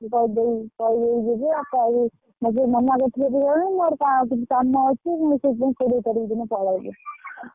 ହଁ କହିଦେଇ ଯିବି ଆଉ ମନା କରୁଥିଲେ ଯିବା ପାଇଁ ମୋର ଆଉ ଟିକେ କାମ ଅଛି ମୁ ସେଇଥିପାଇଁକି କୋଡିଏ ତାରିଖ ଦିନ ପଳେଇବି।